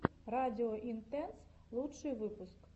радио интэнс лучший выпуск